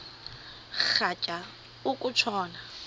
rhatya uku tshona